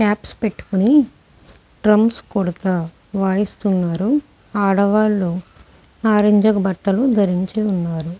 Caps పెట్టుకొని drums కొడతా వాయిస్తున్నారు ఆడవాళ్ళూ ఆరంజ్ బట్టలు ధరించి ఉన్నారు.